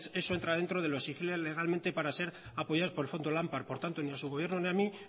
eso entra dentro de lo exigible legalmente para ser apoyados por el fondo lampar por lo tanto ni a su gobierno ni a mí